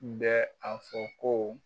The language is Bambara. N bɛ a fɔ ko